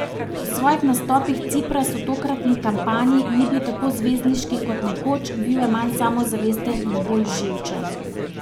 V svojih nastopih Cipras v tokratni kampanji ni bil tako zvezdniški kot nekoč, bil je manj samozavesten in bolj živčen.